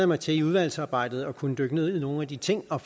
mig til i udvalgsarbejdet at kunne dykke ned i nogle af de ting og